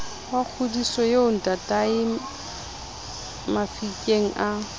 wa kgodiso eo ntataemafikeng a